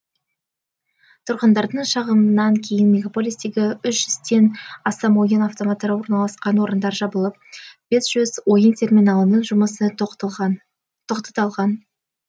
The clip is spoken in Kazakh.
тұрғындардың шағымынан кейін мегаполистегі үш жүзден астам ойын автоматтары орналасқан орындар жабылып бес жүз ойын терминалының жұмысы тоқтатылған